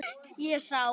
Ég sá